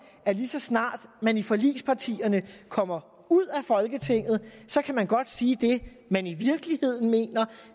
at lige så snart man i forligspartierne kommer ud af folketinget kan man godt sige det man i virkeligheden mener